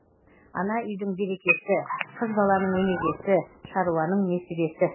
ана үйдің берекесі қыз баланың өнегесі шаруаның несібесі